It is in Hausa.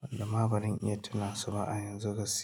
wanda ma ba zan iya tunansu ba a yanzu gaskiya.